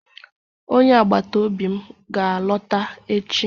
Onye agbata obi m ga-alọta echi.